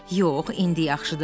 Yox, indi yaxşıdır.